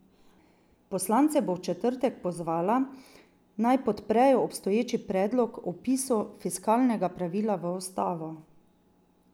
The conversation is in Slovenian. Poslance bo v četrtek pozvala, naj podprejo obstoječi predlog o vpisu fiskalnega pravila v ustavo.